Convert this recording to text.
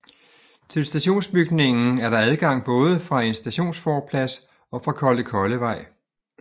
Til stationsbygningen er der adgang både fra en stationsforplads og fra Kollekollevej